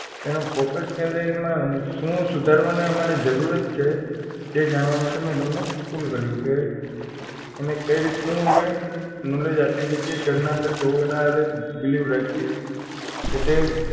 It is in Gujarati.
એનું focus ક્યાં જાય એમાં શું સુધારવાનું અમારે એમાં જરૂરત છે તે જાણવા માટે મેં તમને call કર્યો કે એને કઈ રીતનું અમે knowledge આપી શકીએ ઘરના અંદર કેવું એના હારે behave રાખીએ કે તે